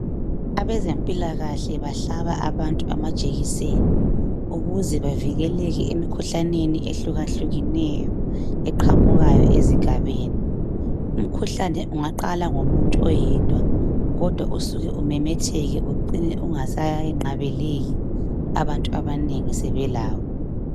Abezempilakahle bahlaba abantu amajekiseni ukuze bavikeleke emikhuhlaneni ehluka hlukeneyo eqhamukayo ezigabeni umkhuhlane ungaqala ngomuntu oyedwa kodwa usuke umemetheke ucine ungasanqabeleki abantu abanengi sebelawo.